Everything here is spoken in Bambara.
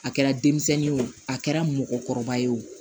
A kɛra denmisɛnnin ye o a kɛra mɔgɔkɔrɔba ye o